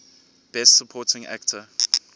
best supporting actor